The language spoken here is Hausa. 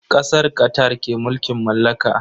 Kasar Qatar ke mulkin mallaka.